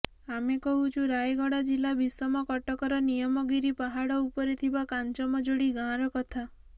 ଆମେ କହୁଛୁ ରାୟଗଡା ଜିଲ୍ଲା ବିଶମକଟକର ନିୟମଗିରି ପାହାଡ ଉପରେ ଥିବା କାଂଜମଯୋଡି ଗାଁର କଥା